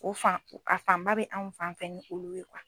O fan a fanba bɛ anw fanfɛ ni olu ye